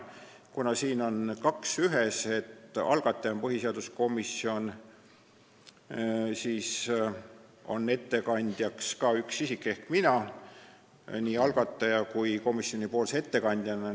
Kuna siin on kaks ühes, ka algataja on põhiseaduskomisjon, siis on ettekandjaks ka üks isik ehk mina, nii algataja kui komisjoni ettekandjana.